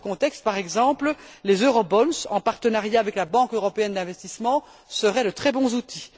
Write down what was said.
Dans ce contexte, par exemple, les eurobonds en partenariat avec la Banque européenne d'investissement, seraient de très bons outils.